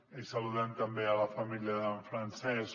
i saludem també la família d’en francesc